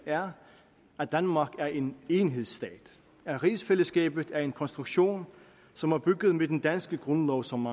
er at danmark er en enhedsstat at rigsfællesskabet er en konstruktion som er bygget med den danske grundlov som